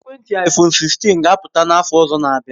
Ekwentị iphone 16 ga apụta n'afọ ọzọ na abia